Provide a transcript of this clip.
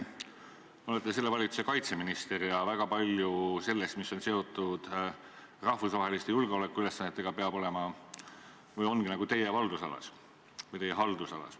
Teie olete selle valitsuse kaitseminister ja väga palju sellest, mis on seotud rahvusvaheliste julgeolekuülesannetega, peab olema või ongi teie haldusalas.